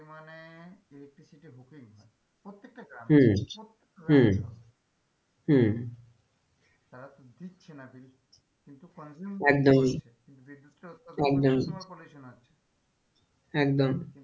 প্রত্যেকটা গ্রামে হম হম হম ছাড়া তো দিচ্ছে না কিন্তু consume bill হচ্ছে একদমই বিদ্যুৎ টা উৎপাদন করা একদমই তোমার pollution হচ্ছে একদম,